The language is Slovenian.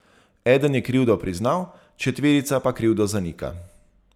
Eden je krivdo priznal, četverica pa krivdo zanika.